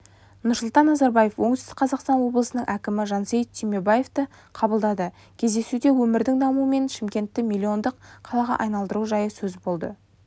нұрсұлтан назарбаев оңтүстік қазақстан облысының әкімі жансейіт түймебаевты қабылдады кездесуде өңірдің дамуы мен шымкентті миллиондық қалаға айналдыру жайы сөз болды